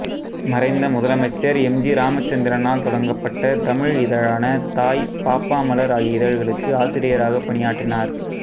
மறைந்த முதலமைச்சர் M G ராமச்சந்திரனால் தொடங்கப்பட்ட தமிழ் இதழான தாய் பாப்பாமலர் ஆகிய இதழ்களுக்கு ஆசிரியராகப் பணியாற்றினார்